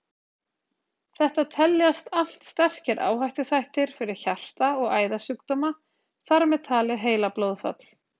Þetta teljast allt sterkir áhættuþættir fyrir hjarta- og æðasjúkdóma, þar með talið heilablóðfall.